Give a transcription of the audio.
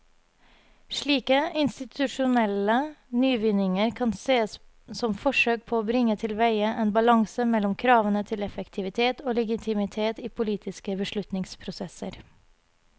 Slike institusjonelle nyvinninger kan sees som forsøk på å bringe tilveie en balanse mellom kravene til effektivitet og legitimitet i politiske beslutningsprosesser.